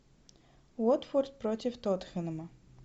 уотфорд против тоттенхэма